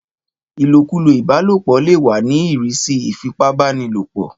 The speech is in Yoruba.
Ìlòkulò ìbálòpọ̀ lè wà ní ìrísí ìfipábánilòpọ̀.